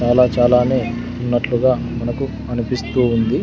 చాలా చాలానే ఉన్నట్లుగా మనకు అనిపిస్తూ ఉంది.